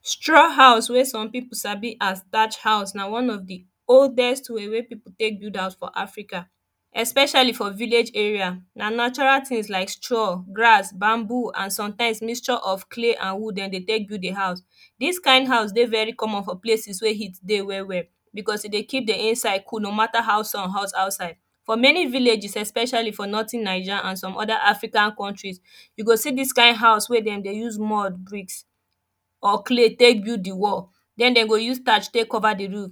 straw house wey people sabi as thatch house na one of the oldest way wey poeple take build house for Africa especially for village area, na natural things like straw, grass, bambo and sometimes mixture of clay and wood dem dey take build the house dis kind house dey very comon for places wey heat dey well well because e dey keep the inside cool no matter how sun hot for outside for many villages especially for northen Naija and some oda African countries you go see dis kind house wey dem dey use mud bricks or clay take build the wall then dem go use thatch take cover the roof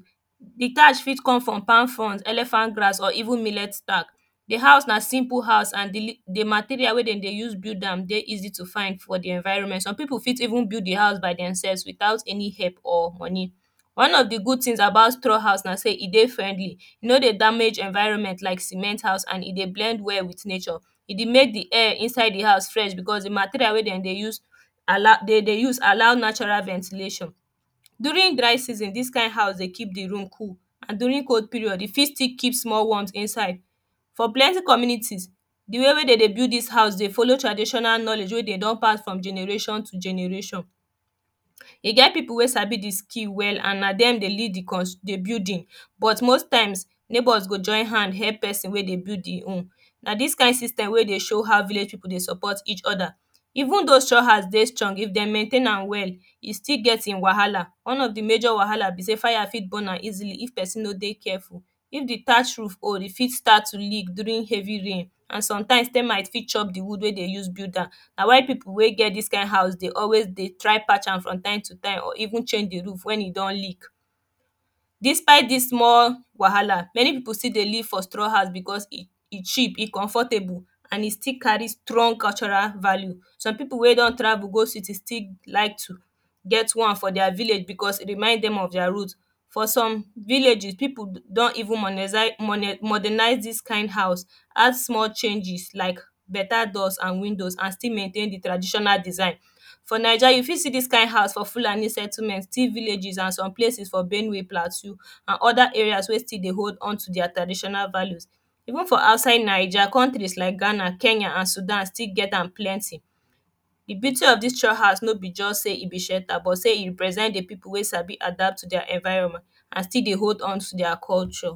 the thatch fit come from palm fronds, elephant grass or milet stack the house na simple house and the material wey dem dey talk build am dey easy to find for the environment some people go even build the house themselves without any help or money one of the good things abut straw houses na say e dey friendly e no dey damge the evrionment like cement house, and e dey blend well with nature e dey make the air inside the house freah because the material wey dem dey use allow, dey dey use allow natural ventilation during dry season this kind house dey keep the room cool and during cold period, e fit still keep small warmth inside for plenty communities the way wey dem dey build this house dey follow tranditional knowledge wey they don pass from generation to generation e get some people wey sabi the skill well and na de dey lead the cous, the building but most time, neigbours go join hand help person wey dey build the home na this kind system dey show how village people dey support each oda eventhough straw house dey strong, if them maintain am well e still get him wahala one of the major wahala be say fire fit burn am easily if person no dey careful if the thatch old e fit start to leak during heavy rain and sometimes termites fit chop the wood wey dem take build am na why people wey get this kind house dey always dey try patch am from time to time or even change the roof wen e don leak despite this trouble, many people still dey live for straw house beacuse e cheap, e comfortable and e still carry strong cultural value so people wey don travel go city still like to get one for dia village because e remid them of dia root. for some villages, poeple don even modenize this kind house add something changes like better doors and windows and still mauntain the tradiriioal design for naija, you fit see this kind house for Fuani settlement, tea villages, and some places for benue plateu state and oda areas wey still the hold unto their traditional vallues even outside naija ountries like Ghana, Kenya, and sudan still get am plenty the beauty of this thatch house no be just sey e be shelta but sey e represent the people wey sabi adapt to their environement and still dey hold on to their culture.